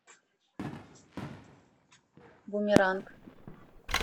бумеранг